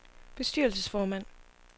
bestyrelsesformand